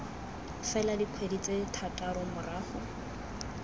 fela dikgwedi tse thataro morago